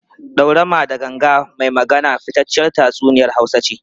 Daurama da Ganga mai Magana fitacciyar tatsuniyar Hausa ce.